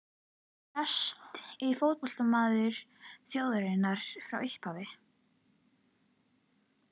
En er hann besti fótboltamaður þjóðarinnar frá upphafi?